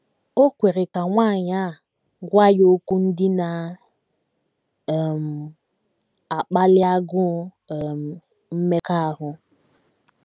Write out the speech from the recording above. O kwere ka nwanyị a gwa ya okwu ndị na um - akpali agụụ um mmekọahụ.